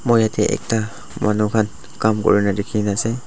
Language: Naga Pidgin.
moi yatae ekta manu khan Kam kurina dikhina ase.